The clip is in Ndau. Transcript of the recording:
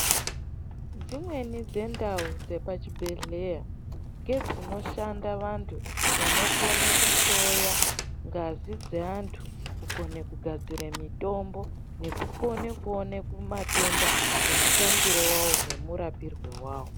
Dzimweni dzendau dzepachibhedhleya, ngedzishanda vantu, vanokone kuhloya, ngazi dzeantu ,kukone kugadzire mitombo, nekukone kuone kumatenda, nemutangire wavo nemurapirwe wavo.